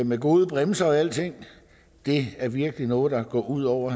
med gode bremsere og alting det er virkelig noget der går ud over